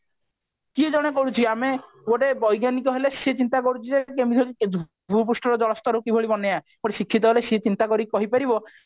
କିଏ ଜଣେ କହିଛି ଆମେ ଗୋଟେ ବୈଜ୍ଞାନିକ ହେଲେ ସେ ଚିନ୍ତା କରୁଛି ଯେ କେମିତି ହେଲେ ଭୁପୃଷ୍ଠ ର ଜଳ ସ୍ତର କିଭଳି ବନେୟା ଗୋଟେ ଶିକ୍ଷିତ ହେଲେ ସେ ଚିନ୍ତା କରିକି କହିପାରିବ